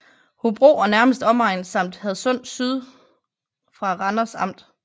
Hobro og nærmeste omegn samt Hadsund Syd fra Randers Amt